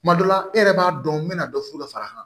Tuma dɔ la e yɛrɛ b'a dɔn n bɛna dɔ furu ka fara a kan